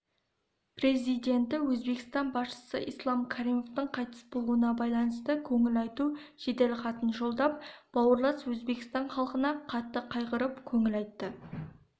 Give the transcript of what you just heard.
президенті өзбекстан басшысы ислам каримовтің қайтыс болуына байланысты көңіл айту жеделхатын жолдап бауырлас өзбекстан халқына қатты қайғырып көңіл айтты